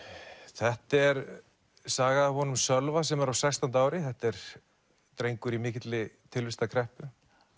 þetta er saga af honum Sölva sem er á sextánda ári þetta er drengur í mikilli tilvistarkreppu